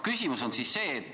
Küsimus on see.